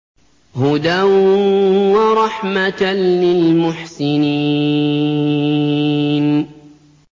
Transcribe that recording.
هُدًى وَرَحْمَةً لِّلْمُحْسِنِينَ